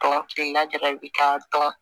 Tɔ kelenna jara i bɛ taa